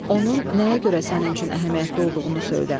Onun nəyə görə sənin üçün əhəmiyyətli olduğunu söylə.